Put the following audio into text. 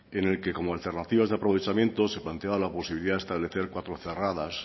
en el que como alternativas de aprovechamiento se planteaba la posibilidad de establecer cuatro cerradas